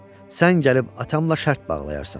Sən gəlib atamla şərt bağlayarsan.